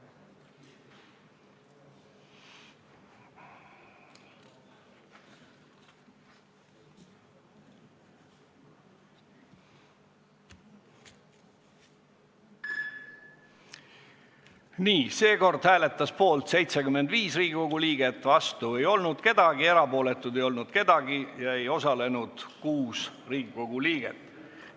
Hääletustulemused Seekord hääletas poolt 75 Riigikogu liiget, vastu ei olnud keegi, erapooletuid ei olnud, ei osalenud 6 Riigikogu liiget.